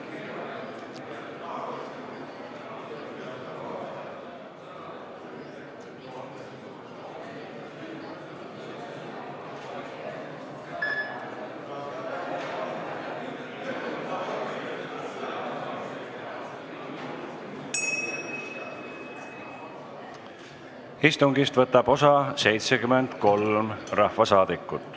Kohaloleku kontroll Istungist võtab osa 73 rahvasaadikut.